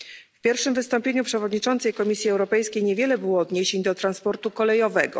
W pierwszym wystąpieniu przewodniczącej Komisji Europejskiej niewiele było odniesień do transportu kolejowego.